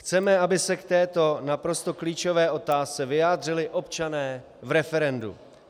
Chceme, aby se k této naprosto klíčové otázce vyjádřili občané v referendu.